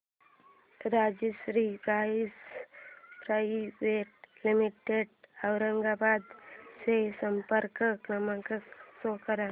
Rajshri pipes private limited Aurangabad चा संपर्क क्रमांक शो कर